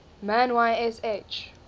man y sh